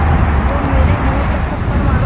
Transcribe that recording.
तो मेरे मुँह पर थप्पड़ मारो